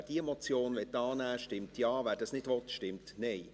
Wer diese Motion annehmen will, stimmt Ja, wer dies nicht will, stimmt Nein.